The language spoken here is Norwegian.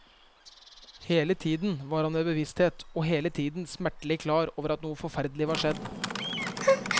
Hele tiden var han ved bevissthet og hele tiden smertelig klar over at noe forferdelig var skjedd.